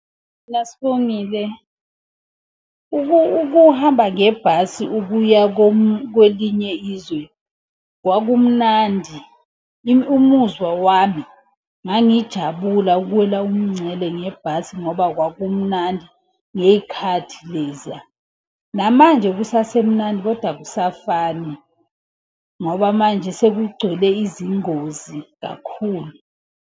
Mina Sibongile, ukuhamba ngebhasi ukuya kwelinye izwe kwakumnandi, umuzwa wami, ngangijabula ukuwela umngcele ngebhasi ngoba kwakumnandi ngey'khathi leziya. Namanje kusasemnandi, koda akusafani ngoba manje sekugcwele izingozi kakhulu.